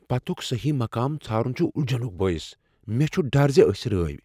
پتُک صحیح مقام ژھارن چھ الجھنُک بٲعث ۔ مےٚ چھ ڈر زِ أسۍ رٲیۍ۔